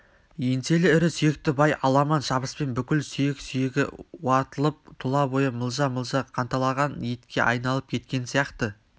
еңселі ірі сүйекті бай аламан шабыспен бүкіл сүйек-сүйегі уатылып тұла бойы мылжа-мылжа қанталаған етке айналып кеткен сияқты